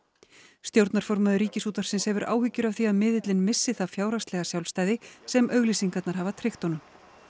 stjórnarformaður Ríkisútvarpsins hefur áhyggjur af því að miðillinn missi það fjárhagslega sjálfstæði sem auglýsingarnar hafa tryggt honum